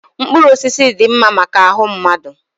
mkpụrụ osisi dị mma maka ahụ mmadụ